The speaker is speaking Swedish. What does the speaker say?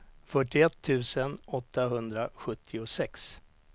fyrtioett tusen åttahundrasjuttiosex